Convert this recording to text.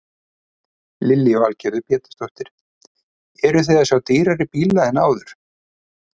Lillý Valgerður Pétursdóttir: Eruð þið að sjá dýrari bíla en áður?